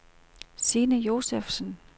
Signe Josefsen